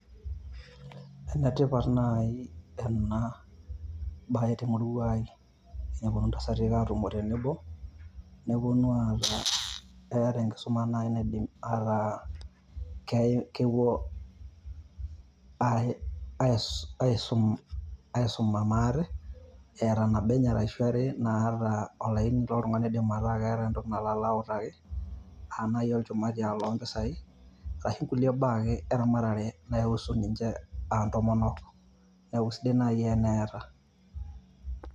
Enetipat naaji ena baye te murua ai naponu ntasati aatumo tenebo neponu aaku keeta enkisuma naaji naa kepuo naaji aisum aisuma maate eeta nabo enye ashu are naata olaini lotung`ani oidim ataa keeta entoki nalo autaki. Aa naaji olchumati loo mpisai ashu nkulie baa ake eramatare naihusu ninche aa ntomonk niaku eisidai naaji teneata.